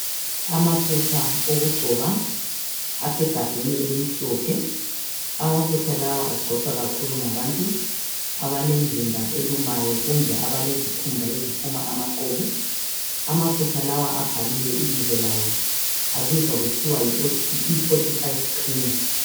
Amafutha okugcoba asegabheni elimhlophe. Amafutha lawa agcotshwa kakhulu ngabantu abalemizimba elumayo kumbe abalezikhumba eziphuma amaqhubu. Amafutha lawa abhaliwe ibizo lawo, abizwa kuthiwa yi E45 cream.